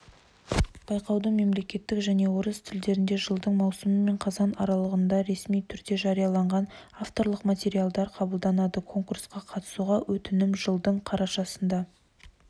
байқауға мемлекеттік және орыс тілдерінде жылдың маусымы мен қазаны аралығында ресми түрде жарияланған авторлық материалдар қабылданады конкурсқа қатысуға өтінім жылдың қарашасына